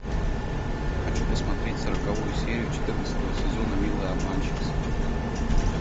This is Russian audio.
хочу посмотреть сороковую серию четырнадцатого сезона милые обманщицы